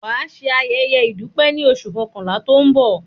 Wà á ṣẹ ayéyé ìdúpẹ́ ní oṣù kankànlá tó ń bọ̀!